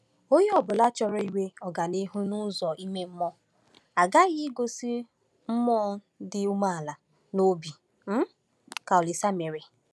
Onye ọ bụla chọrọ inwe ọganihu n’ụzọ ime mmụọ aghaghị igosi mmụọ dị umeala n’obi dị um ka Olise mere.